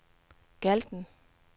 Galten